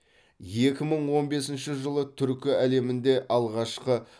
екі мың он бесінші жылы түркі әлемінде алғашқы